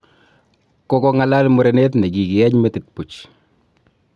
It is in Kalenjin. Kogong'alaal murenet ne kigieny metit puch